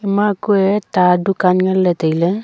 ema kua ta dukaan ngan ley tai lay.